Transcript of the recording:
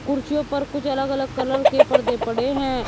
कुर्सियों पर कुछ अलग अलग कलर के पर्दे पड़े हैं।